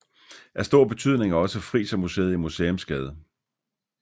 Af stor betydning er også Frisermuseet i Museumsgade